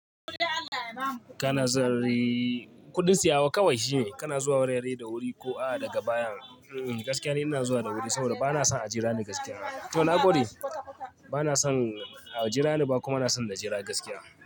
Kana zuwa r-r-kudin siyawa kawai shi ne, kana zuwa wurare da wuri ko a daga baya. Ee, gaskiya ne ina zuwa da wuri saboda bana son a jira ni gaskiya. To nagode, bana son a jira ni ba kuma bana son na jira gaskiya.